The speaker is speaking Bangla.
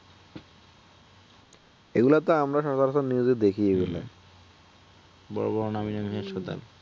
এগুলাতে আমরা সচরাচর নিজেদের দেখি ই না, , বড় বড় নামিদামী হাসপাতাল